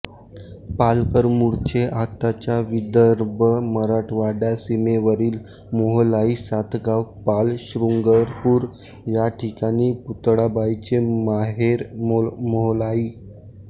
पालकर मूळचे आताच्या विदर्भ मराठवाडा सीमेवरील मोहलाई सातगाव पाल शृंगरपुर या ठिकाणी पुतळाबाईचे माहेर मोहालाई